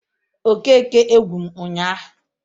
Okeke egwu m ụnyaahụ